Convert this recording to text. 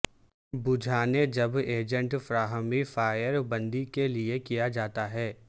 بجھانے جب ایجنٹ فراہمی فائر بندی کے لئے کیا جاتا ہے